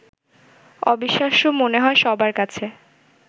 অবিশ্বাস্য মনে হয় সবার কাছে